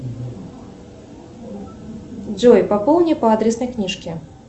джой пополни по адресной книжке